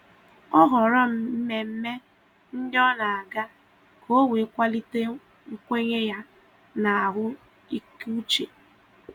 Ọ họrọ mmemme ndị o na aga ka o wee kwalite nkwenye ya na ahụ ike uche